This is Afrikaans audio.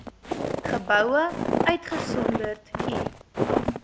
geboue uitgesonderd u